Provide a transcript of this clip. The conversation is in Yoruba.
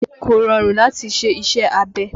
Kò rọrùn láti ṣe iṣẹ́ abẹ